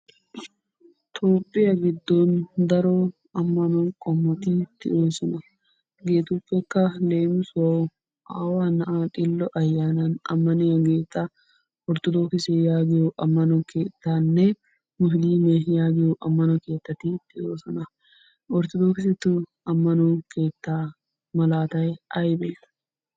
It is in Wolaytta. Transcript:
Toophphiya giddon daro ammanuwa qommoti de'oosona. Hegeetuppekka leemissuwawu aawa na'aa xillo ayaanan ammaniyageta orttodokkisse yaagiyo ammano keettaanne musiliimme yaggiyo ammano keettati de'oosona. Orttodokkisstu ammanoy keettaa malaatay aybee?